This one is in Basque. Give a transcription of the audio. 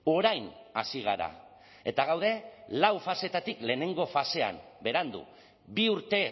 orain hasi gara eta gaude lau faseetatik lehenengo fasean berandu bi urte